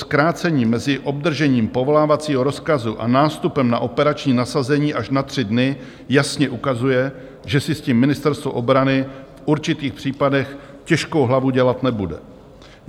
Zkrácení mezi obdržením povolávacího rozkazu a nástupem na operační nasazení až na tři dny jasně ukazuje, že si s tím Ministerstvo obrany v určitých případech těžkou hlavu dělat nebude.